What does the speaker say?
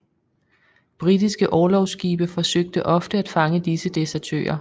Britiske orlogsskibe forsøgte ofte at fange disse desertører